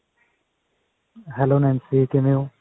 hello Nancy ਕਿਵੇਂ ਹੋ